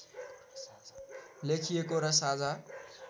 लेखिएको र साझा